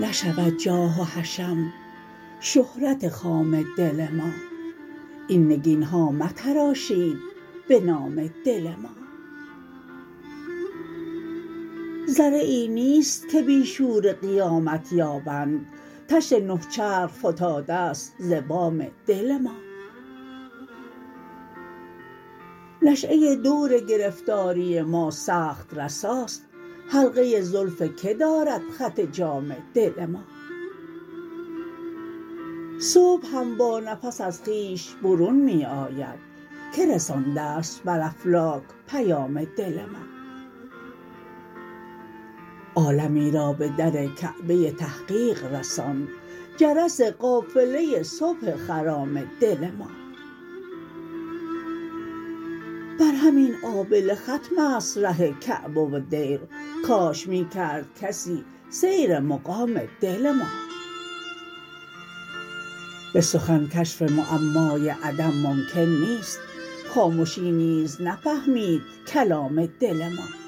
نشود جاه و حشم شهرت خام دل ما این نگینها متراشید به نام دل ما ذره ای نیست که بی شور قیامت یابند طشت نه چرخ فتاده ست ز بام دل ما نشیه دورگرفتاری ما سخت رساست حلقه زلف که دارد خط جام دل ما صبح هم با نفس از خویش برون می آید که رسانده ست بر افلاک پیام دل ما عالمی را به در کعبه تحقیق رساند جرس قافله صبح خرام دل ما بر همین آبله ختم است ره کعبه و دیر کاش می کرد کسی سیر مقام دل ما به سخن کشف معمای عدم ممکن نیست خامشی نیز نفهمید کلام دل ما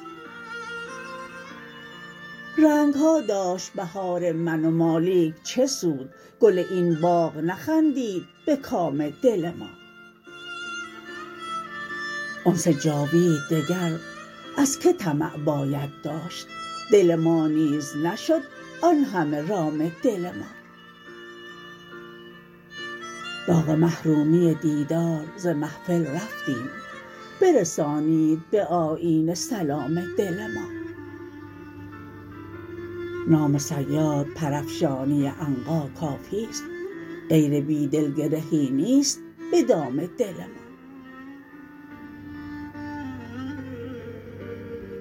رنگها داشت بهار من و ما لیک چه سود گل این باغ نخندید به کام دل ما انس جاوید دگر از که طمع باید داشت دل ما نیز نشد آنهمه رام دل ما داغ محرومی دیدار ز محفل رفتیم برسانید به آیینه سلام دل ما نام صیاد پرافشانی عنقا کافیست غیر بیدل گرهی نیست به دام دل ما